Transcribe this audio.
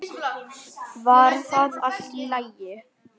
Var það allt í lagi?